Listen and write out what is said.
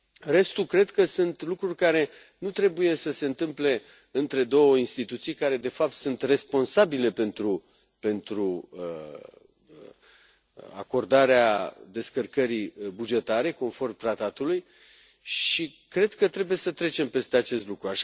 Restul cred că sunt lucruri care nu trebuie să se întâmple între două instituții care, de fapt, sunt responsabile pentru acordarea descărcării bugetare, conform tratatului, și cred că trebuie să trecem peste acest lucru.